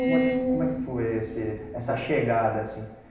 Como é que fo como é que foi esse essa chegada, assim?